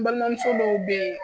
N balimamuso dɔw bɛɛ